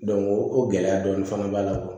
o gɛlɛya dɔɔnin fana b'a la